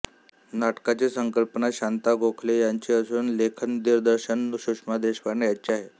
नाटकाची संकल्पना शांता गोखले यांची असून लेखनदिग्दर्शन सुषमा देशपांडे यांचे आहे